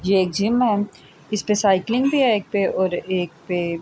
یہ ایک جم ہے۔ اسپے سائکلنگ بھی ہے ایک پی اور ایک پی--